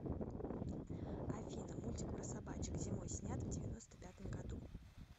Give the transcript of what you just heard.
афина мультик про собачек зимой снят в девяносто пятом году